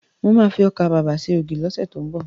Mo ma fi ọkà babà ṣe ògì lọ́sẹ̀ tó ń bọ̀